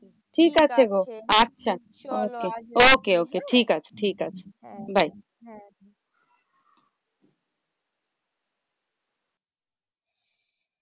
ঠিক আছে গো আচ্ছা okay okay. ঠিকআছে ঠিকআছে bye.